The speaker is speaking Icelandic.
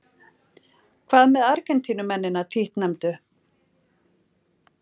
Hvað með Argentínumennina títtnefndu?